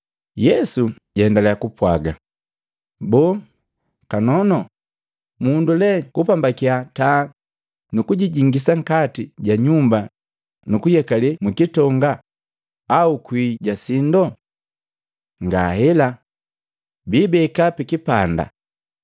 Yesu jaendaliya kapwagi, “Boo! Kanono mundu lee kupambakiya taa nukujingisa nkati ja nyumba nu kuyekale mkitonga au kwii ja sindo? Ngahela! Biibeka pi kipanda.